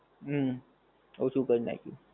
હમ